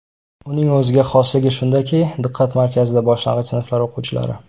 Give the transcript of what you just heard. Uning o‘ziga xosligi shundaki, diqqat markazida boshlang‘ich sinflar o‘quvchilari.